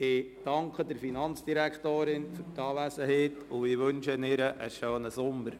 Ich danke der Finanzdirektorin für ihre Anwesenheit und wünsche ihr einen schönen Sommer.